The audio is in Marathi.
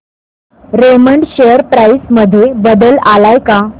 रेमंड शेअर प्राइस मध्ये बदल आलाय का